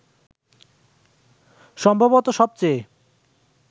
সম্ভবত সবচেয়ে